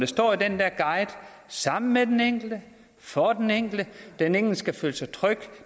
står i den der guide sammen med den enkelte for den enkelte den enkelte skal føle sig tryg